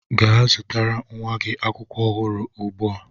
Gaa zụtara nwa gị akwụkwọ ọhụrụ ugbu a!